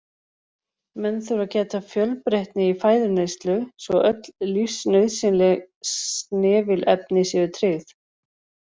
Menn þurfa að gæta fjölbreytni í fæðuneyslu svo öll lífsnauðsynleg snefilefni séu tryggð.